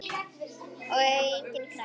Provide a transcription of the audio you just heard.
Og enginn krakki!